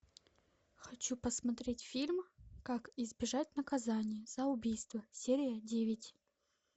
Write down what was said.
хочу посмотреть фильм как избежать наказания за убийство серия девять